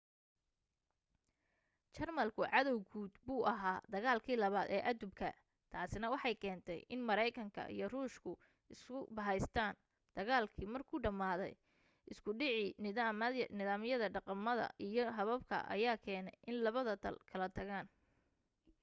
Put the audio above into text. jarmalku cadaw guud buu ahaa dagaalkii 2aad ee aduubka taasina waxay keentay in maraykanka iyo ruushku isu bahaystaan dagaalkii markuu dhamaaday isku dhacii nidaamyada dhaqamada iyo hababka ayaa keenay in labada dal kala tagaan